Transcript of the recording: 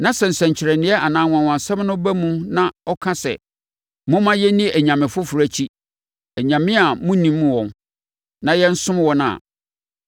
na sɛ nsɛnkyerɛnneɛ anaa anwanwasɛm no ba mu na ɔka sɛ, “Momma yɛnni anyame foforɔ akyi (anyame a monnim wɔn) na yɛnsom wɔn” a,